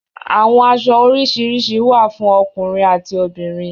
Àwọn aṣọ orisirisi wa fún ọkùnrin ati obìnrin